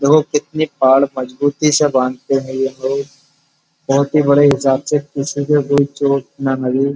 देखो कितनी पाड़ मजबूती से बांधते हैं ये लोग। बोहोत ही बड़े हिसाब से किसी को भूल चोट ना लगे।